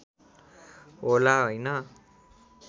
होला होइन